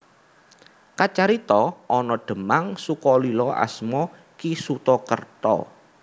Kacarita ana Demang Sukolilo asma Ki Suta Kerta